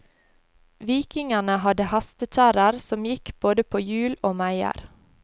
Vikingene hadde hestekjerrer som gikk både på hjul og meier.